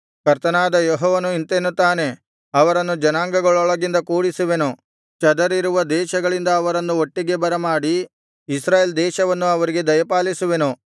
ಕರ್ತನಾದ ಯೆಹೋವನು ಇಂತೆನ್ನುತ್ತಾನೆ ಅವರನ್ನು ಜನಾಂಗಗಳೊಳಗಿಂದ ಕೂಡಿಸುವೆನು ಚದರಿರುವ ದೇಶಗಳಿಂದ ಅವರನ್ನು ಒಟ್ಟಿಗೆ ಬರಮಾಡಿ ಇಸ್ರಾಯೇಲ್ ದೇಶವನ್ನು ಅವರಿಗೆ ದಯಪಾಲಿಸುವೆನು